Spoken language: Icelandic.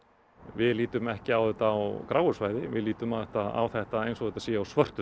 við lítum ekki á þetta á gráu svæði við lítum á þetta á þetta eins og þetta sé á svörtu